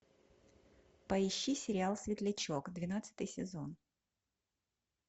поищи сериал светлячок двенадцатый сезон